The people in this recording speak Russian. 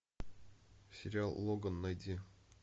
сериал логан найди